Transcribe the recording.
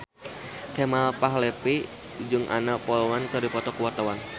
Kemal Palevi jeung Anna Popplewell keur dipoto ku wartawan